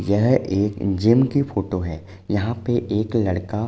यह एक जिम की फोटो है। यहाँ पे एक लड़का --